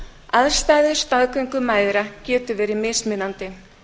aðstæður staðgöngumæðra geta verið mismunandi